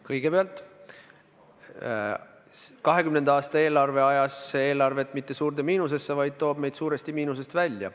Kõigepealt, 2020. aastaks me ei ajanud eelarvet mitte suurde miinusesse, vaid tõime selle suuresti miinusest välja.